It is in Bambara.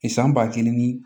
I san ba kelen ni